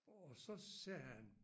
Og så sagde han